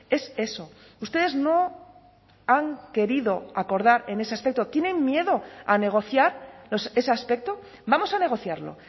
es eso ustedes no han querido acordar en ese aspecto tienen miedo a negociar ese aspecto vamos a negociarlo